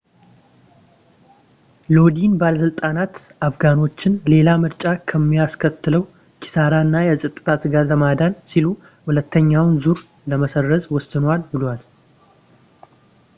ሎዲን ባለሥልጣናት አፍጋኖችን ሌላ ምርጫ ከሚያስከትለው ኪሳራ እና የፀጥታ ስጋት ለማዳን ሲሉ ሁለተኛውን ዙር ለመሰረዝ ወስነዋል ብለዋል